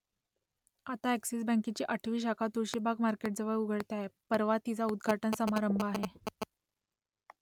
आता अ‍ॅक्सिस बँकेची आठवी शाखा तुळशीबाग मार्केटजवळ उघडते आहे , परवा तिचा उद्घाटन समारंभ आहे